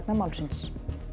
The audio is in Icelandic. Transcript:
málsins